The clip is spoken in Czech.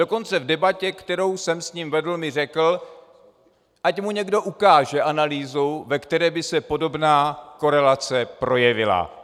Dokonce v debatě, kterou jsem s ním vedl, mi řekl, ať mu někdo ukáže analýzu, ve které by se podobná korelace projevila.